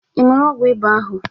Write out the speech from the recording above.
Ị ṅụụrụ ọgwụ ịba ahụ?